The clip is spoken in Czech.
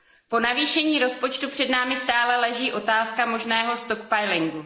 Po navýšení rozpočtu před námi stále leží otázka možného vytváření zásob.